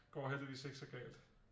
Går heldigvis ikke så galt